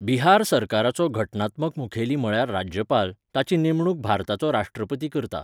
बिहार सरकाराचो घटनात्मक मुखेली म्हळ्यार राज्यपाल, ताची नेमणूक भारताचो राश्ट्रपती करता.